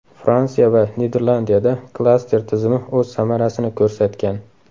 Fransiya va Niderlandiyada klaster tizimi o‘z samarasini ko‘rsatgan.